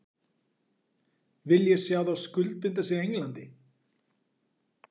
Vil ég sjá þá skuldbinda sig Englandi?